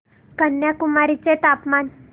कन्याकुमारी चे तापमान